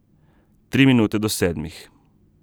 Tri minute do sedmih.